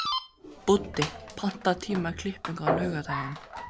Búddi, pantaðu tíma í klippingu á laugardaginn.